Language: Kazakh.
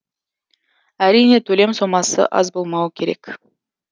әрине төлем сомасы аз болмауы керек